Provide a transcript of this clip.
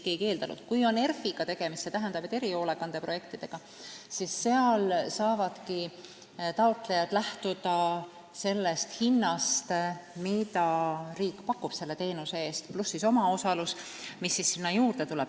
Kui on tegemist ERF-iga, st erihoolekande projektidega, siis seal saavadki taotlejad lähtuda sellest hinnast, mida riik selle teenuse eest pakub, pluss omaosalus, mis tuleb sinna juurde.